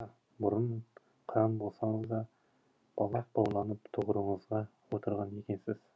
ата бұрын қыран болсаңыз да балақ бауланып тұғырыңызға отырған екенсіз